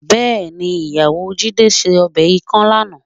Bẹ́ẹ̀ni, ìyàwó Jídé ṣe ọbẹ̀ ikàn lánàá